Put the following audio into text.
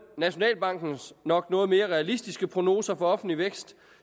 nationalbankens nok noget mere realistiske prognoser for offentlig vækst